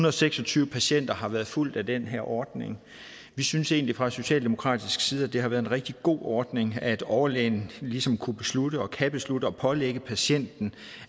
og seks og tyve patienter har været fulgt af den her ordning vi synes egentlig fra socialdemokratisk side at det har været en rigtig god ordning at overlægen ligesom kunne beslutte og kan beslutte at pålægge patienten